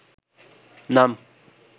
নাম